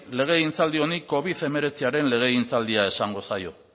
legegintzaldi honi covid hemeretziaren legegintzaldia esango zaio